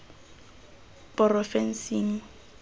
porofensing